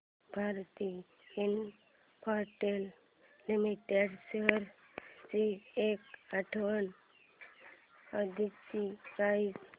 Bharti Infratel limited shares ची एक आठवड्या आधीची प्राइस